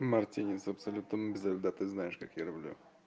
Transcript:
мартини с абсолютом результат ты знаешь как я люблю